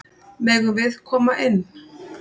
Megum við koma inn?